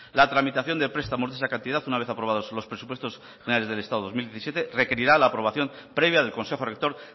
la tramitación de prestamos de esa cantidad una vez aprobados los presupuestos generales del estado dos mil diecisiete requerirá la aprobación previa del consejo rector